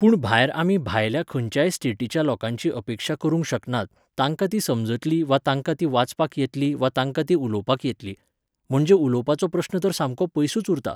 पूण भायर आमी भायल्या खंयच्या स्टेटीच्या लोकांची अपेक्षा करूंक शकनात, तांकां ती समजतली वा तांकां ती वाचपाक येतली वा तांकां ती उलोवपाक येतली. म्हणजे उलोवपाचो प्रश्न तर सामको पयसूच उरता